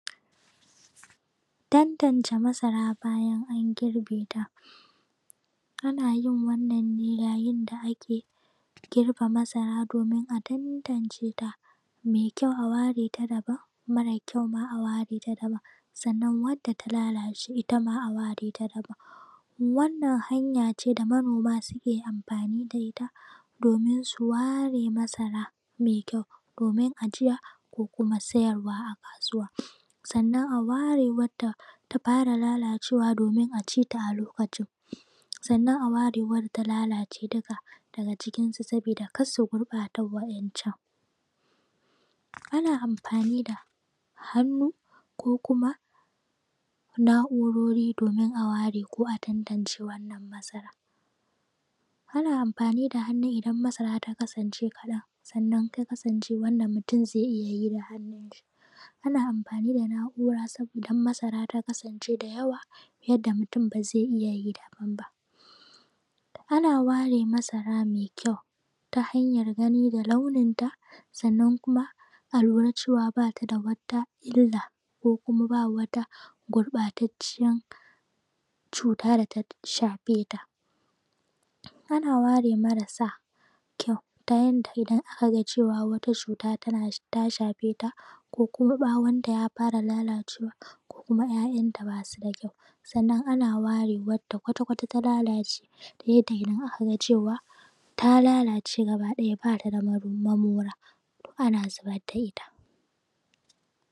Tantance masara bayan an girbe ta ana yin wannan ne yayin da ake girbe masara domin a tantance ta mai kyau a ware ta daban mara kyau ma a ware ta daban sannan wadda ta lalace ita ma a ware ta daban, wannan hanya ce da manoma suke amfani da ita domin su ware masara mai kyau domin ajiya ko kuma sayarwa a kasuwa sannan a ware wadda ta fara lalacewa domin a ci ta a lokacin sannan a ware wadda ta lalace dukka daga cikin su sabida kar su gurɓata waɗancan, ana amfani da hannu ko kuma na`urori domin a ware ko a tantamce wannan matsalan, ana amfani da hannu idan masara ta kasance kaɗan sannan ta kasance wadda mutum zai iya yi da hannu shi, ana mafani da na`ura sabo idan ta kasance da yawa yadda mutum ba zai iya yi daban ba, ana ware masara mai kyau ta hanyan gani ga launim ta sannan kuma a lura cewa bata da wata illa ko kuma ba wata gurɓatacciyan cuta da ta shafe ta, ana ware marasa kyau ta yanda idan aka cewa wata cuta tana ta shafeta ko kuma ɓawon ta ya fara lalacewa ko kuma `ya`yanta basu da kyau sannan ana ware wadda kwtata kwata ta lalace ta yadda idan aka ga cewa ta lalace gaba ɗaya bata da mamora to ana zibar da ita.